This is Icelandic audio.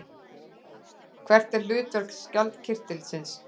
Hvert er hlutverk skjaldkirtilsins?